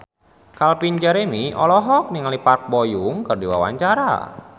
Calvin Jeremy olohok ningali Park Bo Yung keur diwawancara